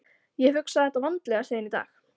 Ég hef hugsað þetta vandlega síðan í dag.